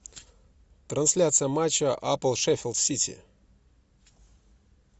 трансляция матча апл шеффилд сити